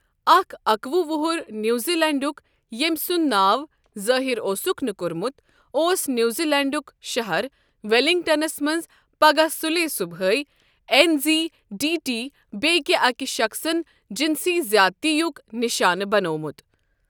اکھ اکوُہ وُہُر نیوزی لینڈُک، ییٚمۍ سُنٛد ناو ظٲہِر اوسُکھ نہٕ کوٚرمُت، اوس نیوزی لینڈُک شہر ویلنگٹنَس منٛز پَگہہ صُلے صبحٲے این زِی ڈی ٹی بیٛکہِ أکۍ شخصَن جنسی زیٲدتی یُک نشانہٕ بنٛوٚومُت